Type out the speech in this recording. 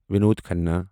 Vinod Khanna